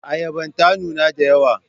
Ayaban ta nuna da yawa.